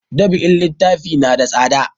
Dab'in littafi na da tsada